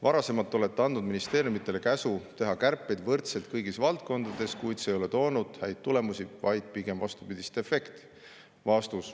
Varasemalt olete andnud ministeeriumidele käsu teha kärpeid võrdselt kõigis valdkondades, kuid see ei ole toonud häid tulemusi, vaid pigem vastupidist efekti.